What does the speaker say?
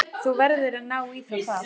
Þú verður að ná í þá þar.